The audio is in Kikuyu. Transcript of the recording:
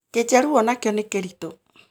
Kĩnjaruo onakĩo nĩ kĩritũ